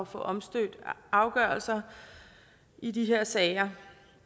få omstødt afgørelser i de her sager